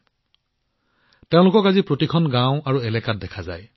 আজি তেওঁলোকক প্ৰতিখন গাওঁ আৰু এলেকাত দেখা যায়